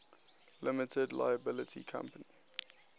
limited liability company